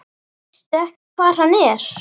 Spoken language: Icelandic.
Veistu ekki hvar hann er?